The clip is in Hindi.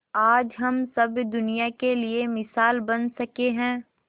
आज हम सब दुनिया के लिए मिसाल बन सके है